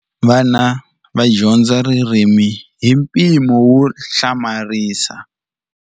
Vana va dyondza ririmi hi mpimo wo hlamarisa.